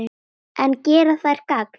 En gera þær gagn?